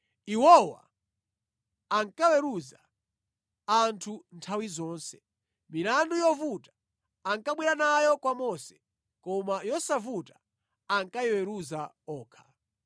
Iwowa ankaweruza anthu nthawi zonse. Milandu yovuta ankabwera nayo kwa Mose, koma yosavuta ankayiweruza okha.